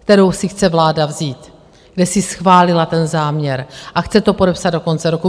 kterou si chce vláda vzít, kde si schválila ten záměr a chce to podepsat do konce roku.